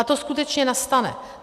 A to skutečně nastane.